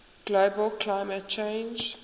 global climate change